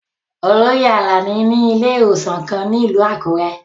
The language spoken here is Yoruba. Oloye Alani ni ile-iwosan kan ni ilu Akure